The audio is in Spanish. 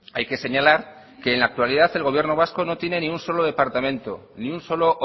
hay que señalar que en la actualidad el gobierno vasco no tiene ni un solo departamento ni un solo